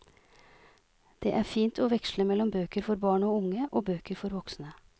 Det er fint å veksle mellom bøker for barn og unge og bøker for voksne.